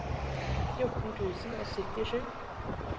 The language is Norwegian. fjorten tusen og syttisju